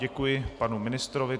Děkuji panu ministrovi.